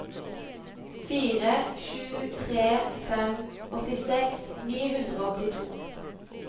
fire sju tre fem åttiseks ni hundre og åttito